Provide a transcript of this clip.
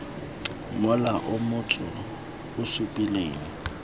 mola o motsu o supileng